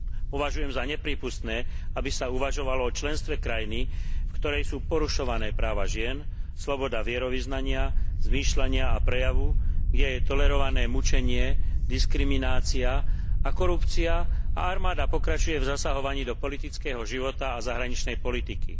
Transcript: Považujem za neprípustné, aby sa uvažovalo o členstve krajiny, v ktorej sú porušované práva žien, sloboda vierovyznania, zmýšľania a prejavu, kde je tolerované mučenie, diskriminácia a korupcia a armáda pokračuje v zasahovaní do politického života a zahraničnej politiky.